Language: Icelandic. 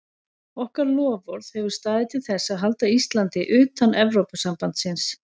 Okkar loforð hefur staðið til þess að halda Íslandi utan Evrópusambandsins.